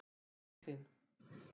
Franklín